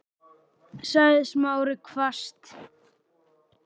sagði Smári hvasst.